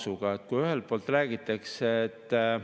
Nüüd tahetakse seda 20%‑lt tõsta 22%‑le.